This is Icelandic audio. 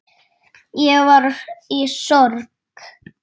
Ég var í sorg.